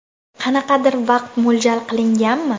Qanaqadir vaqt mo‘ljal qilinganmi?